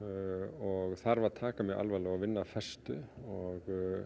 og þarf að taka alvarlega og vinna af festu og